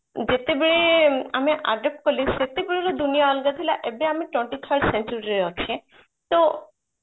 ଯେତେବେଳେ ଆମେ adopt କଲେ ସେତେବେଳେ ଦୁନିଆ ଅଲଗା ଥିଲାଏବେ ଆମେ twenty first century ରେ ଅଛେ ତ